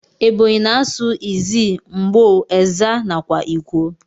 Ebonyi na asụ izzi, ngbo, ezza, nakwa ikwo.